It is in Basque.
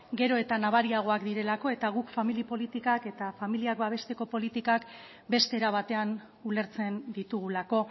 gero eta nabariagoak direlako eta guk famili politikak eta familiak babesteko politikak beste era batean ulertzen ditugulako